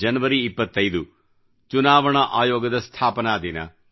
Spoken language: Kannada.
ಜನವರಿ 25ಚುನಾವಣಾ ಆಯೋಗದ ಸ್ಥಾಪನಾ ದಿನ